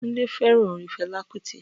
Tunde fẹràn orin Fela Kuti